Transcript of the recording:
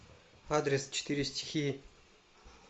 адрес четыре стихии